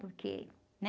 Porque, né?